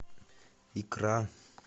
икра